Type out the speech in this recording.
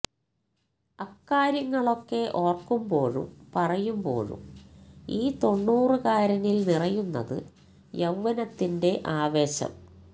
അക്കാര്യങ്ങളൊക്കെ ഓർക്കുമ്പോഴും പറയുമ്പോഴും ഈ തൊണ്ണൂറുകാരനിൽ നിറയുന്നത് യൌവനത്തിന്റെ ആവേശം